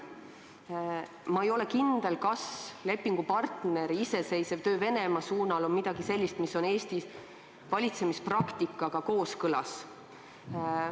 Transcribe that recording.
Ma ei ole kindel, kas lepingupartneri iseseisev töö Venemaa suunal on midagi sellist, mis on Eesti valitsemispraktikaga kooskõlas.